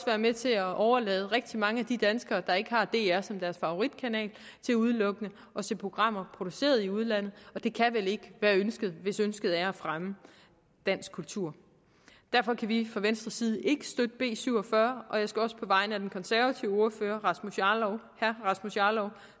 være med til at overlade rigtig mange af de danskere der ikke har dr som deres favoritkanal til udelukkende at se programmer produceret i udlandet og det kan vel ikke være ønsket hvis ønsket er at fremme dansk kultur derfor kan vi fra venstres side ikke støtte b syv og fyrre og jeg skal på vegne af den konservative ordfører herre rasmus jarlov